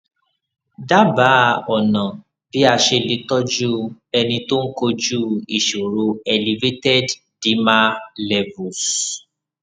dábàá ọnà bí a ṣe lè tọjú ẹni tó ń kojú ìṣòro elevated dimer levels